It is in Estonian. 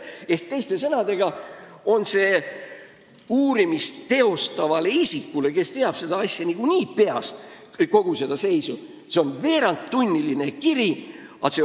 Ehk teiste sõnadega on see uurimist teostavale isikule, kes teab kogu selle asja seisu niikuinii peast, veerandtunniline kirjatöö.